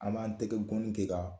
An b'an tɛgɛ gɔni kɛ k'a